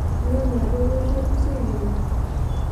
iyiolo dupoto osikiria